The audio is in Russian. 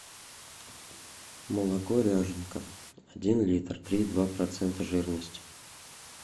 молоко ряженка один литр три и два процента жирности